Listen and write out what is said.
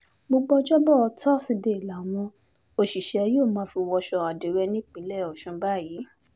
gbogbo ọjọ́bọ̀ tọ́sídẹ̀ẹ́ làwọn òṣìṣẹ́ yóò fi máa wọṣọ àdírẹ́ nípínlẹ̀ ọ̀sùn báyìí